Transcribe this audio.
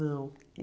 Não.